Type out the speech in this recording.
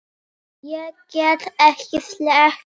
Ég get ekki sleppt því.